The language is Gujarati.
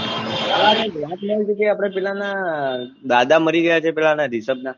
અલા કઈ ક વાત મળી હતી કે આપને પીલા ના દાદા મરી ગયા છે પીલા Rishabh ના